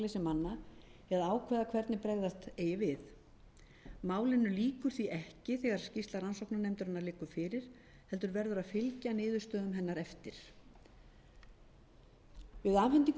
eða ákveða hvernig bregðast eigi við málinu lýkur því ekki þegar skýrsla rannsóknarnefndarinnar liggur fyrir heldur verður að fylgja niðurstöðum hennar eftir við afhendingu skýrslunnar mun hún að